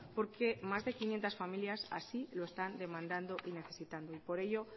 porque más de quinientos familias así lo están demandando y necesitando y por ello